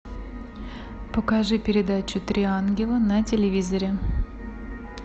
покажи передачу три ангела на телевизоре